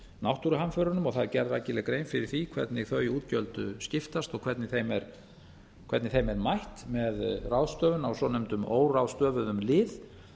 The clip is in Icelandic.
náttúruhamförunum og það er gerð rækileg grein fyrir því hvernig þau útgjöld skiptast og hvernig þeim er mætt með ráðstöfun á svonefndum óráðstöfuðum lið